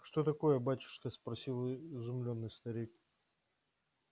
что такое батюшка спросил изумлённый старик